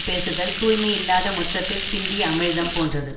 பேசுதல் தூய்மையில்லாத முற்றத்தில் சிந்திய அமிழ்தம் போன்றது